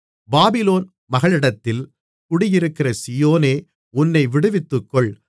Babylon மகளிடத்தில் குடியிருக்கிற சீயோனே உன்னை விடுவித்துக்கொள்